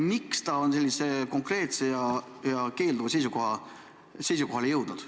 Miks te sellisele konkreetsele keelduvale seisukohale jõudsite?